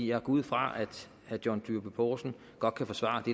jeg går ud fra at herre john dyrby paulsen godt kan forsvare det